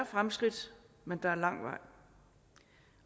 fremskridt men der er lang vej